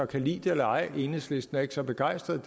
kan lide det eller ej enhedslisten er ikke så begejstrede